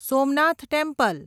Somnath temple